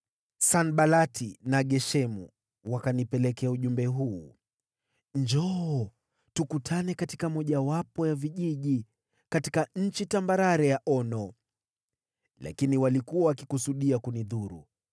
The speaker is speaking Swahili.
Sanbalati na Geshemu wakanitumia ujumbe huu: “Njoo, tukutane katika mojawapo ya vijiji katika nchi tambarare ya Ono.” Lakini walikuwa wakikusudia kunidhuru.